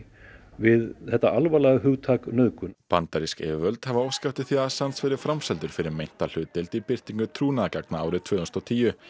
við þetta alvarlega hugtak nauðgun bandarísk yfirvöld hafa óskað eftir því að Assange verði framseldur fyrir meinta hlutdeild í birtingu trúnaðargagna árið tvö þúsund og tíu